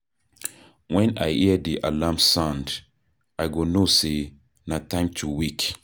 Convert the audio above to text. Wen I hear di alarm sound, I go know sey na time to wake.